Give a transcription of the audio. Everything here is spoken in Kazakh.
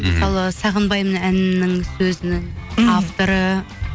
мысалы сағынбаймын әнінінің сөзінің мхм авторы